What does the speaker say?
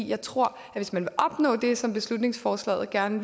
jeg tror at hvis man vil opnå det som beslutningsforslaget gerne